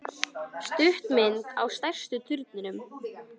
Stuttmynd á stærsta turninum